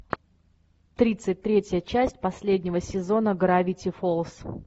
тридцать третья часть последнего сезона гравити фолз